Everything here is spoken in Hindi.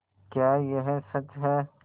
क्या यह सच है